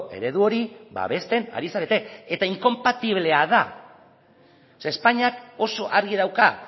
eredu hori babesten ari zarete eta inkonpatiblea da o sea espainiak oso argi dauka